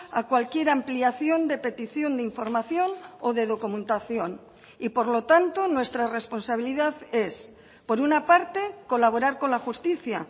a cualquier ampliación de petición de información o de documentación y por lo tanto nuestra responsabilidad es por una parte colaborar con la justicia